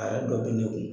A yɛrɛ dɔ bɛ ne kun